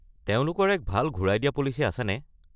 তেওঁলোকৰ এক ভাল ঘূৰাই দিয়া পলিচি আছেনে?